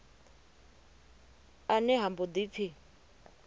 ene ha mbo ḓi pfi